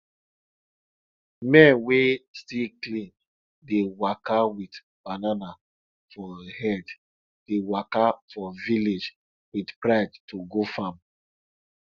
men wey still clean dey waka with banana for head dey waka for village with pride to go farm